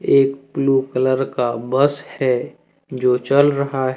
एक blue colour का bus है जो चल रहा --